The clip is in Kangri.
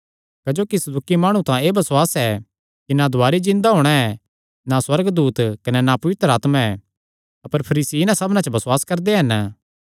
क्जोकि सदूकी माणु तां एह़ बसुआस ऐ कि ना दुवारी जिन्दा होणा ऐ ना सुअर्गदूत कने ना पवित्र आत्मा ऐ अपर फरीसी इन्हां सबना च बसुआस करदे हन